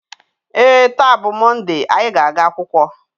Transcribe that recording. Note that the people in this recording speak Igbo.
ee, taa bụ Mọnde anyị na-aga akwụkwọ